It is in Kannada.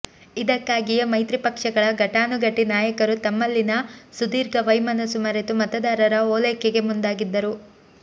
ಇದಕ್ಕಾಗಿಯೇ ಮೈತ್ರಿ ಪಕ್ಷಗಳ ಘಟಾನುಘಟಿ ನಾಯಕರು ತಮ್ಮಲ್ಲಿನ ಸುದೀರ್ಘ ವೈಮನಸ್ಸು ಮರೆತು ಮತದಾರರ ಓಲೈಕೆಗೆ ಮುಂದಾಗಿದ್ದರು